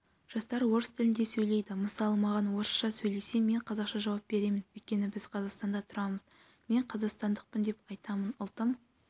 жастар орыс тілінде сөйлейді мысалы маған орысша сөйлесе мен қазақша жауап беремін өйткені біз қазақстанда тұрамыз мен қазақстандықпын деп айтамын ұлтым